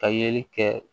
Ka yeli kɛ